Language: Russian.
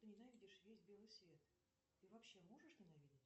ты ненавидишь весь белый свет ты вообще можешь ненавидеть